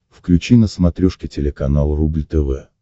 включи на смотрешке телеканал рубль тв